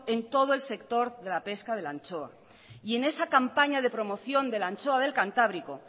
en todo el sector de la pesca de la anchoa y en esa campaña de promoción de la anchoa del cantábrico